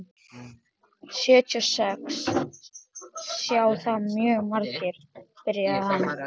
Sjötíu og sex sjá það mjög margir, byrjaði hann.